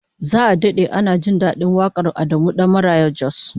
Za'a dade ana jin dadin wakar Adamu Dan Maraya Jos